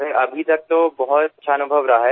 sir अभी तक तो बहुत अच्छा अनुभव रहा है